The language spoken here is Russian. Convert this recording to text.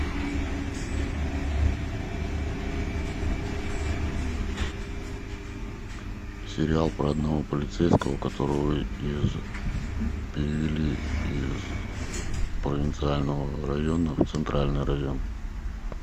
сериал про одного полицейского которого из перевели из провинциального района в центральный район